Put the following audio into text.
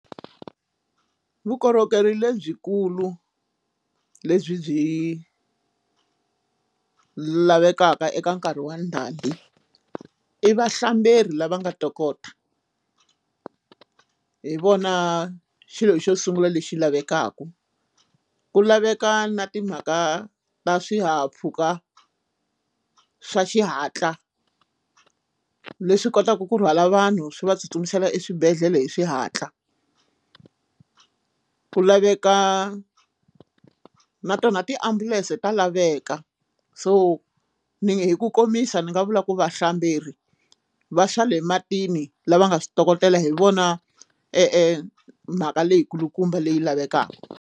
Vukorhokeri lebyikulu lebyi byi lavekaka eka nkarhi wa ndhambi i vahlamberi lava nga tokota hi vona xilo xo sungula lexi lavekaka ku laveka na timhaka ta swihahampfhuka swa xihatla leswi kotaka ku rhwala vanhu swi va tsutsumisela exibedhlele hi xihatla ku laveka na tona tiambulense ta laveka so ni hi ku komisa ni nga vula ku vahlamberi va swale matini lava nga switokotela hi vona e mhaka leyi kulukumba leyi lavekaka.